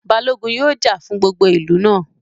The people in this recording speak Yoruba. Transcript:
Balógun yóò jà fún gbogbo ìlú náà